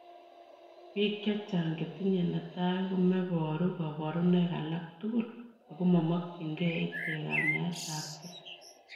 Piik chechang chetinye netai komeparuu kaparunoik alaak tugul ago mamakyin gei icheek kanyaet ap gei.